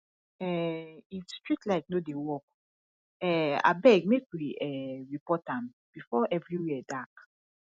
um if street light no dey work um abeg make we um report am before everywhere dark